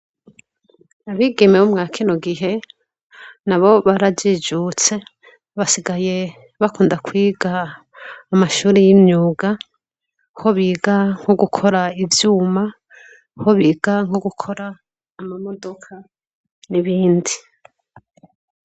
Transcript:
Abigeme bo mwakino gihe nabo barajijutse basigaye bakunda kwiga amashuri y'imyuga, ho biga nko gukora ivyuma, ho biga nko gukora amamodoka n'ibindi.